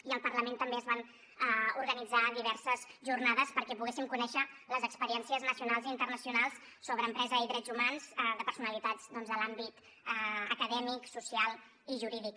i al parlament també es van organitzar diverses jornades perquè poguéssim conèixer les experiències nacionals i internacionals sobre empresa i drets humans de personalitats doncs de l’àmbit acadèmic social i jurídic